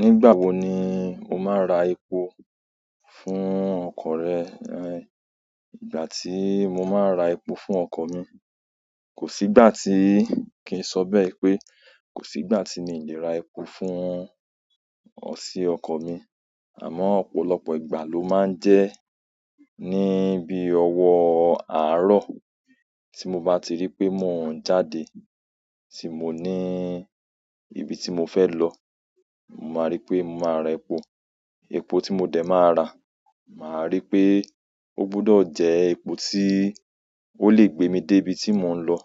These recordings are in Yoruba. Nígbà wo ni o máa ń ra epo fún ọkọ̀ rẹ? Ẹ̀. Ìgbà tí mo máa ra epo fún ọkọ̀ mi, kò sí ìgbà tí kì í sọ bẹ́ẹ̀ pé, kò sí ìgbà tí mìí lè ra epo fún ọ́, sí ọkọ̀ mi. Àmọ́ ọ̀pọ̀lọpọ̀ ìgbà ló máa n jẹ́ ní bí ọwọ́ àárò, tí mo bá ti rí pé mò ń jáde, tí mo ní ibi tí mo fẹ lọ, mo máa ri pé mo máa ra epo epo tí mo dẹ̀ máa ra, màá rí pé ó gbọdọ̀ jẹ́ epo tí ó lè gbé mi dé ibi tí mò ń lọ,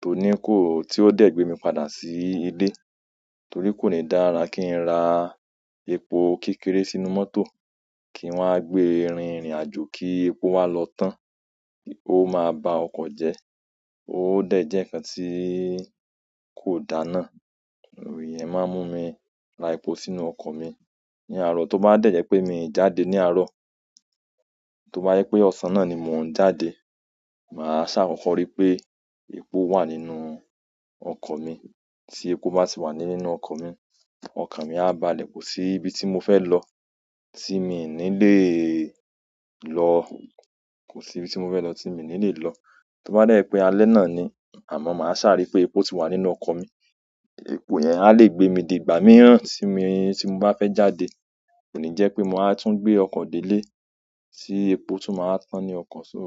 tòní kò, tí ó dẹ̀ gbé mi padà sí ilé. Torí kò ní dára kí n ra epo kékeré sínú mọ́tò, kí n wáá á gbé rin ìrìnàjò kí epo wá lọ tán. Ó máa ba ọkọ̀ jẹ́. Ó dẹ̀ jẹ́ nǹkan tí kò dáná. Ìyẹn máa ń mú mi ra epo sínú ọkọ̀ mi. Ní àárọ̀ tó bá dẹ́ jẹ́ pé mi ò jáde ní àárọ̀, tó bá jẹ pé ọ̀sán náà ni mò ń jáde, màá sàá kọ́kọ́ rí pé epo wà nínú ọkọ̀ mi. Tí epo bá ti wà nínú ọkọ̀ mi, ọkàn mi á balẹ̀ kó sí ibi tí mo fẹ́ lọ tí mi ò ní lè lọ, kó sí ibi tí mo fẹ́ lọ tí mi ò ní lè lọ. Tó bá dẹ́ jẹ́ pé alẹ́ náà ni, àmọ́ màá sáà rí pé epo ti wà nínú ọkọ̀ mi. Epo yẹn áá le gbémi di ìgbà mìíràn tí mi tí mo bá fẹ́ jáde kòní jẹ́ pé mo wáa tún gbé ọkọ̀ délé tí epo tún máa wá tán nínú ọkọ̀. So,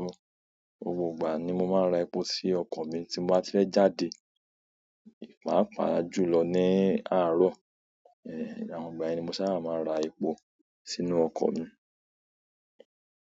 gbogbo ìgbà ni mo máa ń ra epo sí ọkọ̀ mi tí mo bá ti fẹ́ jáde. Páàpáà jùlọ ní àárọ̀, ẹ́ àwọn ìgbà yẹn ni mo sábà máa ń ra epo sínú ọkọ̀ mi.